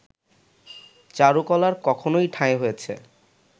চারুকলার কখনো ঠাঁই হয়েছে